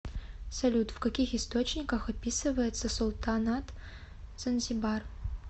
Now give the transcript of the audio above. салют в каких источниках описывается султанат занзибар